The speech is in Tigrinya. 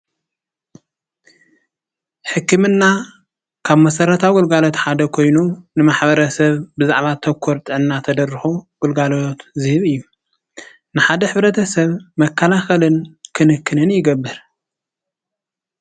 ሕክምና ካብ መሰረታዊ ግልጋሎት ሓደ ኮይኑ ንማሕበረሰብ ብዛዕባ ተኮር ጥዕና ተደረኩ ግልጋሎት ዝህብ እዩ:: ንሓደ ሕብረተሰብ መከላኸልን ክንክንን ይገብር።